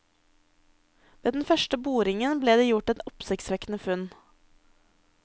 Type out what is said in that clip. Ved den første boringen ble det gjort et oppsiktsvekkende funn.